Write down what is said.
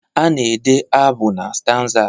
A na-ede abụ na stanzas